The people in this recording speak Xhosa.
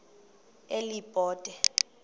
elibode